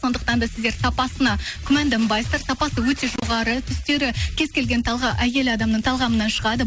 сондықтан да сіздер сапасына күмәнданбайсыздар сапасы өте жоғары түстері кез келген әйел адамның талғамынан шығады